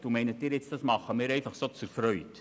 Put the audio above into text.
Meinen Sie, wir tun das einfach so aus Freude?